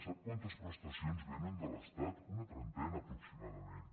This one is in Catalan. sap quantes prestacions vénen de l’estat una trentena aproximadament